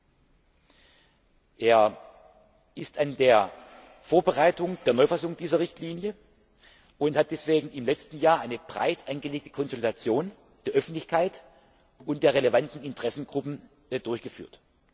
Der Kollege Potočnik ist an der Vorbereitung der Neufassung dieser Richtlinie und hat deswegen im letzten Jahr eine breit angelegte Konsultation der Öffentlichkeit und der relevanten Interessengruppen durchgeführt.